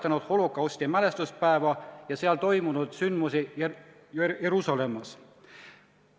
Kusjuures holokausti ohvrite rahvusvaheline mälestuspäev on sätestatud ka ÜRO Peaassambleel 2005. aasta 1. novembril vastuvõetud resolutsiooniga nr 60/7.